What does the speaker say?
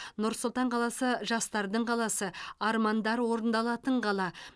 нұр сұлтан қаласы жастардың қаласы армандар орындалатын қала